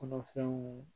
Kɔnɔfɛnw